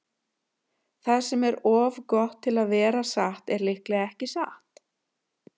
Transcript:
Það sem er of gott til að vera satt er líklega ekki satt.